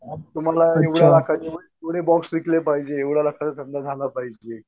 कुणाला कुणी बॉक्स विकले पाहिजे एवढ्या लाखाचा धंदा झाला पाहिजे